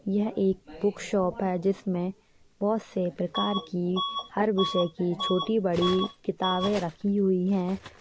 यह एक book shop है जिसमें बहुत से प्रकार की हर विषय की छोटी बड़ी किताबें रखी हुई है।